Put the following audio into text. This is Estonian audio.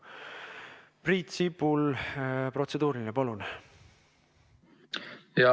Priit Sibul, protseduuriline, palun!